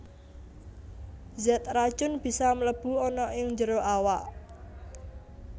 Zat racun bisa mlebu ana ing njero awak